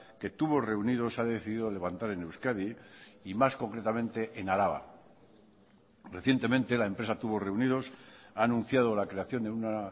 que tubos reunidos ha decidido levantar en euskadi y más concretamente en araba recientemente la empresa tubos reunidos ha anunciado la creación de una